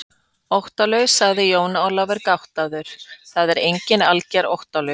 Óttalaus, sagði Jón Ólafur gáttaður, það er enginn algerlega óttalaus.